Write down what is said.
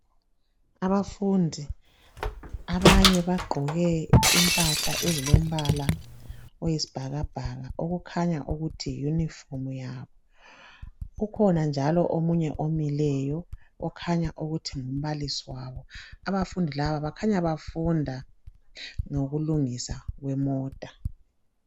Abafundi abanye bagqoke impahla ezilombala oyisibhakabhaka okukhanya ukuthi yi uniform yabo kukhona njalo omunye omileyo okhanya ukuthi ngumbalisi wabo abafundi laba bakhanya bafunda ngokulungiswa kwemota.